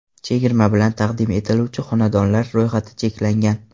Chegirma bilan taqdim etiluvchi xonadonlar ro‘yxati cheklangan.